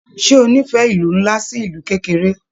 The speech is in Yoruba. Ṣe o n'ifẹ ìlú nlá sí ìlú kékeré?